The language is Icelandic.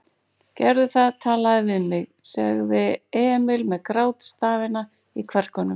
Gerðu það, talaðu við mig, sagði Emil með grátstafina í kverkunum.